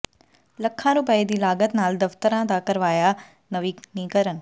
ਲੱਖਾਂ ਰੁਪਏ ਦੀ ਲਾਗਤ ਨਾਲ ਦਫ਼ਤਰਾਂ ਦਾ ਕਰਵਾਇਆ ਨਵੀਨੀਕਰਨ